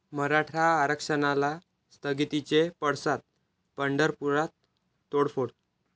मराठा आरक्षणाला स्थगितीचे पडसाद, पंढरपुरात तोडफोड